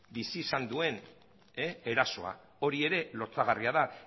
bizi izan duen erasoa hori ere lotsagarria